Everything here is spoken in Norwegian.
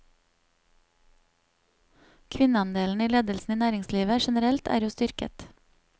Kvinneandelen i ledelsen i næringslivet generelt er jo styrket.